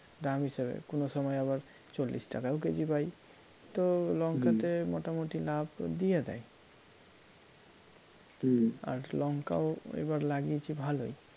দাম হিসাবে কোনো সময় আবার চল্লিশ টাকাও কেজি পাই তো লঙ্কাতে মোটামুটি লাভ দিয়ে দেয় আর লঙ্কাও এবার লাগিয়েছি ভালোই